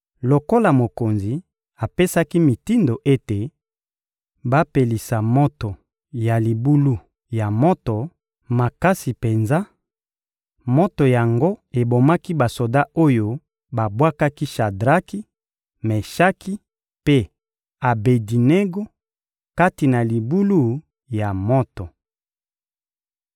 Lokola mokonzi apesaki mitindo ete bapelisa moto ya libulu ya moto makasi penza, moto yango ebomaki basoda oyo babwakaki Shadraki, Meshaki mpe Abedinego kati na libulu ya moto.